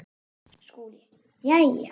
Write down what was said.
SKÚLI: Jæja!